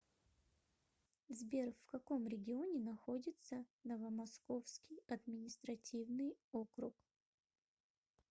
сбер в каком регионе находится новомосковский административный округ